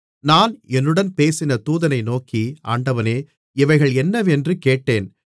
நான் என்னுடன் பேசின தூதனை நோக்கி ஆண்டவனே இவைகள் என்னவென்று கேட்டேன்